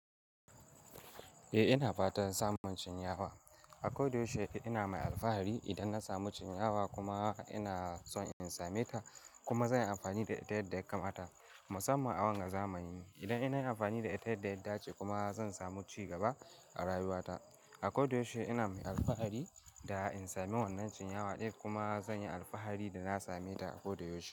Eh ina fatan samun cinyawa. Akoda yaushe ina mai alfahari idan na samu cinyawa kuma ina son in same ta kuma zan yi amfani da ita yadda ya kamata musamman a wannan zamanin. Idan nayi amfani da ita yadda ya dace kuma zan samu ci gaba a rayuwata. Akoda yaushe ina mai alfahari da in sami wannan cinyawa ɗaya kuma zan yi alfahari da na same ta akoda yaushe.